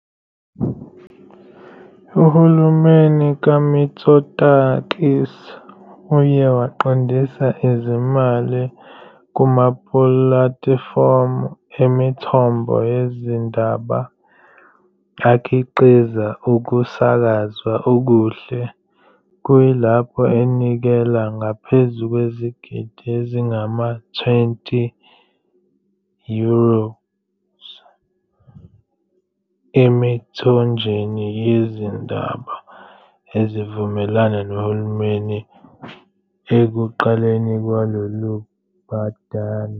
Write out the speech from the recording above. Uhulumeni kaMitsotakis uye waqondisa izimali kumapulatifomu emithombo yezindaba akhiqiza ukusakazwa okuhle, kuyilapho enikela ngaphezu kwezigidi ezingama-20 euros emithonjeni yezindaba evumelana nohulumeni ekuqaleni kwalolu bhadane.